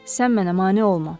Sən mənə mane olma.